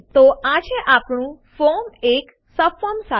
તો આ છે આપણું ફોર્મ એક સબફોર્મ સાથે